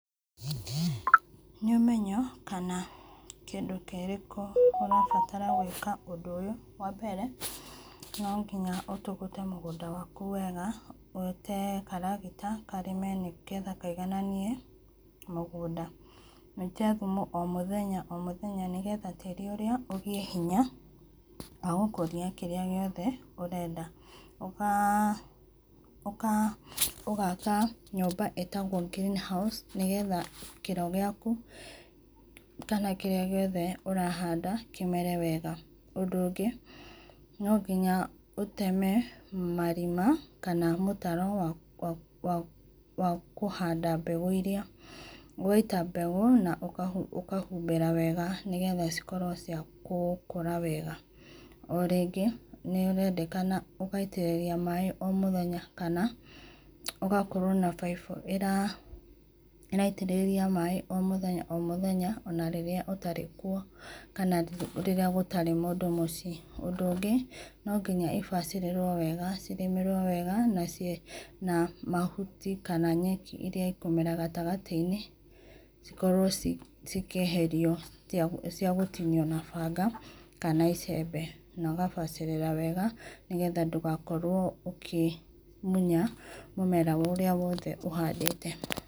Nĩ ũmenyo kana kĩndũ kĩrĩkũ ũrabatara gwĩka ũndũ ũyũ, wa mbere, no ngĩnya ũtũgũte mũgũnda wakũ wega wĩte karagĩta karĩme, nĩgetha kaĩgananĩe mũgũnda. Wĩite thũmũ o mũthenya o mũthenya, nĩgetha ta tĩri ũrĩa ũgĩe hĩnya wa gũkũrĩa kĩrĩa gĩothe ũrenda, ũgaka nyũmba ĩtagwo green house, nĩgetha kĩro gĩakũ kana kĩrĩa gĩothe ũrahanda kĩmere wega, ũndũ ũgĩ no ngĩnya ũteme marĩma kana mũtaro wa kũhanda mbegũ iria, ũgaĩta mbegũ na ũkahũmbĩra wega, nĩgetha cikorwo cia gũkũra wega. O rĩngĩ nĩ ũraendekana ũgaitĩrĩria maĩ o mũthenya kana ũgakorwo na baibũ ĩraitĩrĩria maĩ o mũthenya o mũthenya ona rĩrĩa ũtarĩ kũo, kana rĩrĩa gũtarĩ mũndũ mũciĩ. Ũndũ ũngĩ no nginya i ibacĩrĩrwo wega, cirĩmĩrwo wega na mahũtĩ kana nyekĩ irĩa ĩkũmera gatĩgatĩ-inĩ cikorwo cikĩeherĩo cia gũtĩnĩo na banga kana icembe, na ũgabacirĩra wega, nĩgetha ndũgakorwo ũkĩmũnya mũmera ũrĩa wothe ũhandĩte.